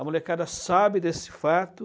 A molecada sabe desse fato.